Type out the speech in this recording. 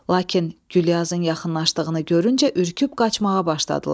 Lakin Gülyazın yaxınlaşdığını görüncə ürküb qaçmağa başladılar.